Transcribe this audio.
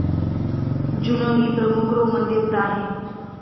जुनो ही प्रमुख रोमन देवता आहे.